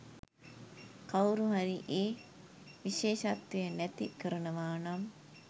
කවුරු හරි ඒ විශේෂත්වය නැති කරනවානම්